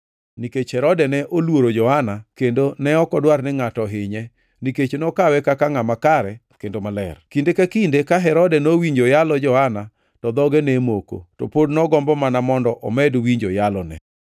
nikech Herode ne oluoro Johana kendo ne ok odwar ni ngʼato ohinye, nikech nokawe kaka ngʼama kare kendo maler. Kinde ka kinde ka Herode nowinjo yalo Johana to dhoge ne moko; to pod nogombo mana mondo omed winjo yalone.